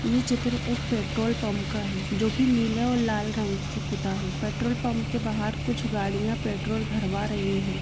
ये चित्र एक पेट्रोल पम्प का है जोकी नीला और लाल रंग से पुता है पेट्रोल पम्प के बाहर कुछ गाडियाँ पेट्रोल भरवा रही है।